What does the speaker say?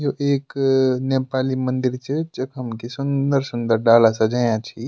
यु एक नेपाली मंदिर च जखम कि सुन्दर सुन्दर डाला सजयाँ छि।